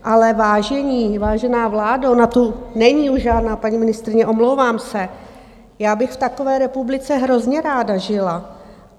Ale vážení, vážená vládo, ona tu není už žádná paní ministryně, omlouvám se, já bych v takové republice hrozně ráda žila.